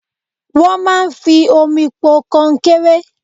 Wọ́n máa ń fi omi po kọnkéré.